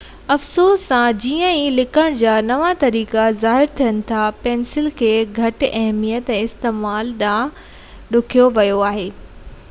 افسوس سان جيئن ئي لکڻ جا نوان طريقا ظاهر ٿين ٿا پينسل کي گهٽ اهميت ۽ استعمال ڏانهن ڌڪيو ويو آهي